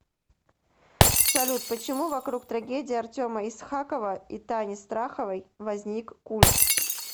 салют почему вокруг трагедии артема исхакова и тани страховой возник культ